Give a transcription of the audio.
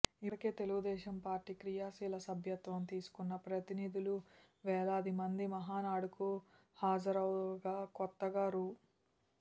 ఇప్పటికే తెలుగుదేశం పార్టీ క్రియాశీల సభ్యత్వం తీసుకున్న ప్రతినిధులు వేలాది మంది మహానాడుకు హాజరవగా కొత్తగా రూ